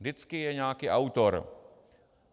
Vždycky je nějaký autor.